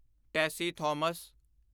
Tessy Thomas